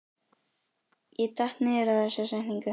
Ég datt niður á þessa setningu.